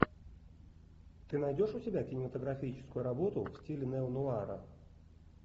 ты найдешь у себя кинематографическую работу в стиле неонуара